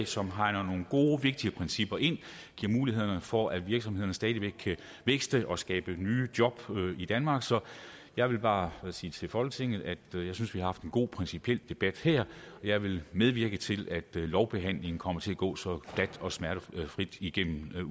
som hegner nogle gode vigtige principper ind det giver mulighed for at virksomhederne stadig væk kan vækste og skabe nye job i danmark så jeg vil bare sige til folketinget at jeg synes vi har haft en god principiel debat her jeg vil medvirke til at lovbehandlingen kommer til at gå som glat og smertefrit igennem